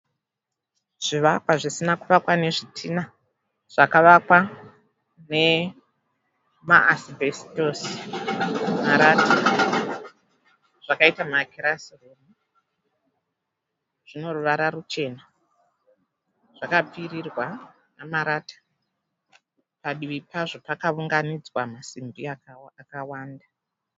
Zvivakwa zvisina kuvakwa nezvitinha zvakavakwa nemaasibhesitosi, marata zvakaita makirasi, zvine ruvara ruchena zvakapfirirwa nemarata padivi pazvo pakaunganidzwa masimbi akawanda.